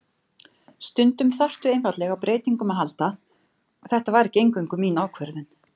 Stundum þarftu einfaldlega á breytingum að halda, þetta var ekki eingöngu mín ákvörðun.